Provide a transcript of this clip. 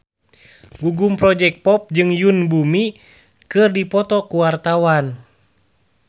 Gugum Project Pop jeung Yoon Bomi keur dipoto ku wartawan